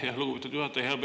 Aitäh, lugupeetud juhataja!